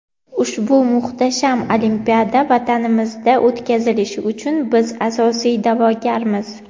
Ushbu muhtasham olimpiada vatanimizda o‘tkazilishi uchun biz asosiy da’vogarmiz.